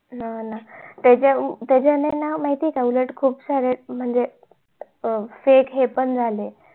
हा ना त्याच्यानी ना उलट खूप साऱ्या म्हणजे अं fake हे पण झाले